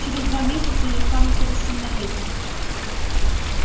через два месяца я стану совершеннолетним